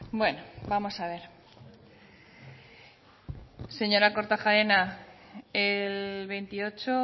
bueno vamos a ver señora kortajarena el veintiocho